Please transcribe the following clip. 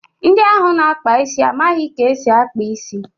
Ndị ahụ na-akpa isi amaghị ka esi akpa isi.